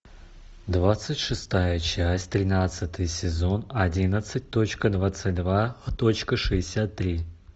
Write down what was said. двадцать шестая часть тринадцатый сезон одиннадцать точка двадцать два точка шестьдесят три